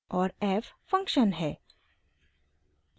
और f function है